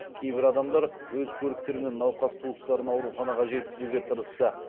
кейбір адамдар өз көліктермен науқас туыстарын ауруханаға жеткізуге тырысты